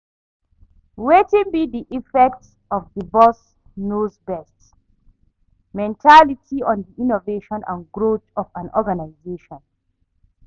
Wetin be di effect of di 'boss knows best' mentality on di innovation and growth of an organizartion?